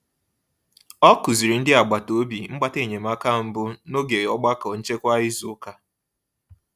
Ọ kụziri ndị agbata obi mgbata enyemaka mbụ n'oge ogbako nchekwa izu ụka.